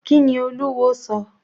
Kíni Olúwo sọ?